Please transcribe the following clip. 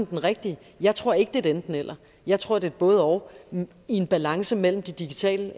den rigtige jeg tror ikke er et enten eller jeg tror det både og i en balance mellem de digitale